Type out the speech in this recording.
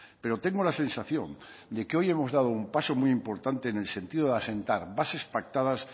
pero tengo la sensación de que hoy hemos dado un paso muy importante en el sentido de asentar bases pactadas